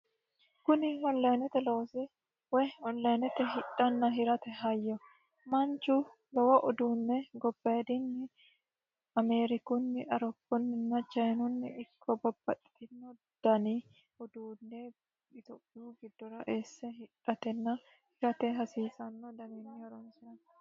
Kuni onlinete loosi woy onlinete hidhana hirate hayyo manichu lowo uduunne gobbayidinni Ameerikunni Aroounnina chinunni ikko babbaxitinno dani uduune Ethiophiyu giddora eesse hidhatenna hirate hasiisano danii horonisiranno